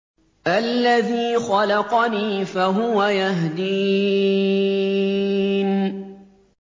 الَّذِي خَلَقَنِي فَهُوَ يَهْدِينِ